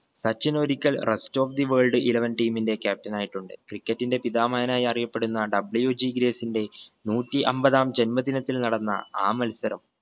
സച്ചിൻ ഒരിക്കൽ rest of the world eleven team ന്റെ captain ആയിട്ടുണ്ട്. cricket ന്റെ പിതാമഹനായി അറിയപ്പെടുന്ന WG ഗ്രേസിന്റെ നൂറ്റി അമ്പതാം ജന്മദിനത്തിൽ നടന്ന ആ മത്സരം